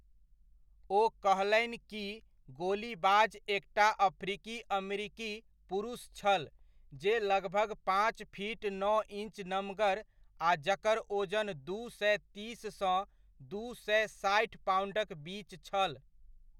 ओ कहलनि कि गोलीबाज एकटा अफ्रीकी अमरिकी पुरुष छल जे लगभग पाँच फीट नओ इञ्च नमगर आ जकर ओजन दू सए तीस सँ दू सए साठि पाउण्डक बीच छल।